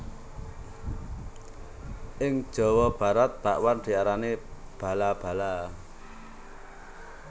Ing Jawa Barat bakwan diarani bala bala